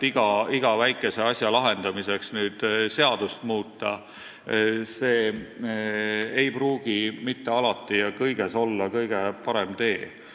Iga väikese asja lahendamiseks seadust muuta – see ei pruugi mitte alati ja kõiges olla kõige parem tee.